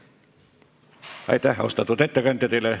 Aitäh, austatud ettekandja!